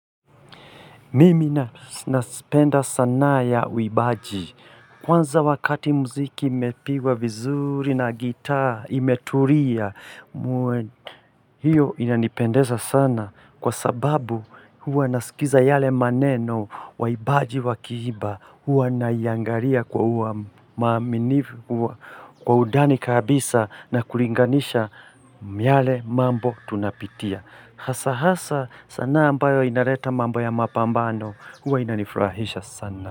Mimi na nazipenda sanaa ya wiimbaji. Kwanza wakati mziki imepigwa vizuri na gitaa imetulia muwe. Hiyo inanipendeza sana kwa sababu huwa nasikiza yale maneno waibaji wa kiimba. Huwa naiangali kwa kwa undani kabisa na kulinganisha yale mambo tunapitia. Hasa hasa sanaa ambayo inaleta mambo ya mapambano huwa inanifurahisha sana.